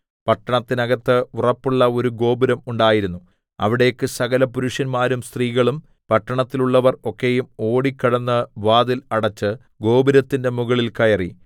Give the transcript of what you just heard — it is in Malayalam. പട്ടണത്തിന്നകത്ത് ഉറപ്പുള്ള ഒരു ഗോപുരം ഉണ്ടായിരുന്നു അവിടേക്ക് സകലപുരുഷന്മാരും സ്ത്രീകളും പട്ടണത്തിലുള്ളവർ ഒക്കെയും ഓടിക്കടന്ന് വാതിൽ അടെച്ച് ഗോപുരത്തിന്റെ മുകളിൽ കയറി